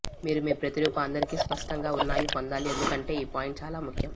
మీరు మీ ప్రతిరూప అందరికీ స్పష్టంగా ఉన్నాయి పొందాలి ఎందుకంటే ఈ పాయింట్ చాలా ముఖ్యం